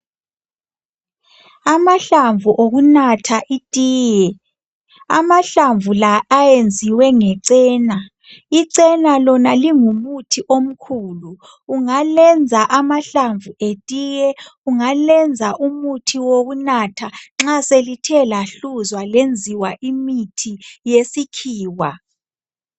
Amahlamvu okunatha itiye. Amahlamvu la ayenziwe ngecena. Icena lona lingumuthi omkhulu ungalenza amahlamvu etiye, ungalenza umuntu wokunatha nxa selithe lahluzwa lenziwa imithi yesikhiwa.